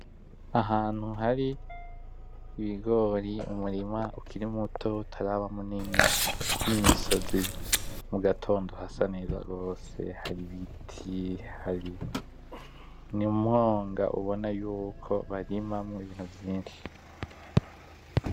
Ahantu hari ibigori, umurima ukiri muto utaraba munini nimisozi. Mugatondo hasa neza rwose hari ibiti hari, ni mumwonga ubona yuko barimamwo ibintu vyinshi.